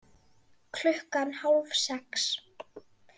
Klukkan hálf sex